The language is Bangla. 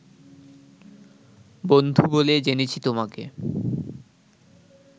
বন্ধু বলে জেনেছি তোমাকে